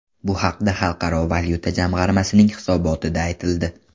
Bu haqda Xalqaro valyuta jamg‘armasining hisobotida aytildi .